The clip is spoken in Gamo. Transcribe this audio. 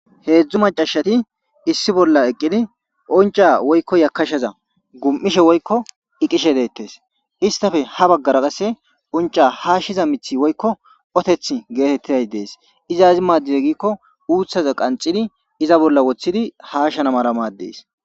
Hedzdzu meccashati issi bolla eqqidi uncca woykko yakkashaza gum'ishe woykko iqishe de'etees; istappe ha bagaara qasse uncca haashiza miththi woykko ottethi geetetizay de'es; iza aazas maadize giiko uuthaza qanxidi iza bolla woththidi haashana mala maades.